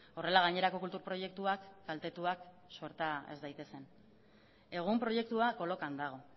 horrela gainerako kultur proiektuak kaltetuak sorta ez daitezen egun proiektua kolokan dago